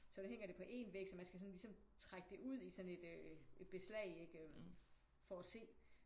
Så nu hænger det på én væg så man skal ligesom trække det ud i sådan et øh beslag ikke for at se